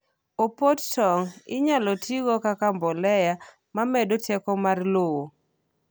opot tong inyalo tigo kaka mbolea mamedo teko mr lowo